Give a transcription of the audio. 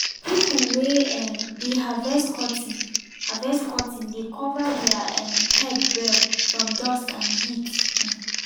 pipo wey um dey harvest cotton harvest cotton dey cover their um head well from dust and heat. um